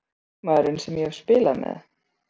Hver er besti leikmaðurinn sem ég hef spilað með?